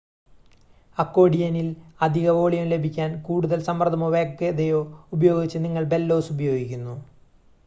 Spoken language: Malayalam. അക്കോഡിയനിൽ അധിക വോളിയം ലഭിക്കാൻ കൂടുതൽ സമ്മർദ്ദമോ വേഗതയോ ഉപയോഗിച്ച് നിങ്ങൾ ബെല്ലോസ് ഉപയോഗിക്കുന്നു